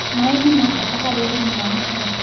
Maĩ nĩmabata harĩ ũrĩmĩ wa mũcere